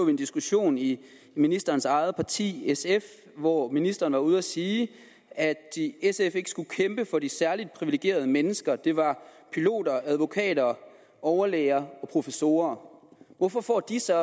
en diskussion i ministerens eget parti sf hvor ministeren var ude at sige at sf ikke skulle kæmpe for de særlig privilegerede mennesker det var piloter advokater overlæger og professorer hvorfor får de så